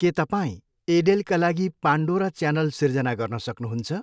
के तपाईँ एडेलका लागि पान्डोरा च्यानल सिर्जना गर्न सक्नुहुन्छ?